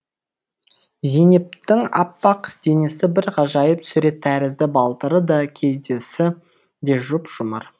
зейнептің аппақ денесі бір ғажайып сурет тәрізді балтыры да кеудесі де жұп жұмыр